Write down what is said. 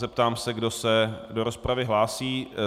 Zeptám se, kdo se do rozpravy hlásí.